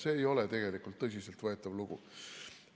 See ei ole tegelikult tõsiselt võetav lugu.